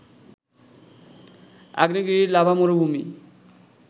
আগ্নেয়গিরির লাভা মরুভূমি